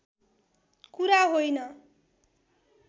कुरा होइन